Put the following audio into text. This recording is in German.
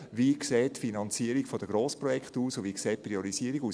Wie sieht die Finanzierung der Grossprojekte aus und wie sieht die Priorisierung aus?